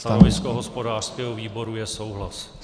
Stanovisko hospodářského výboru je souhlas.